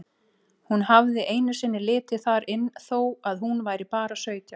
Hún hafði einu sinni litið þar inn þó að hún væri bara sautján.